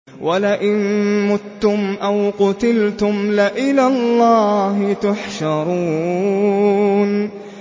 وَلَئِن مُّتُّمْ أَوْ قُتِلْتُمْ لَإِلَى اللَّهِ تُحْشَرُونَ